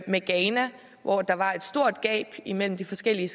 med ghana hvor der var et stort gab imellem de forskellige